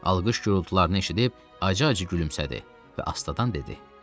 Alqış gurultularını eşidib acı-acı gülümsədi və astadan dedi: